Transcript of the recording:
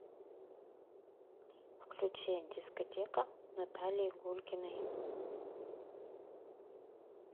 включи дискотека наталии гулькиной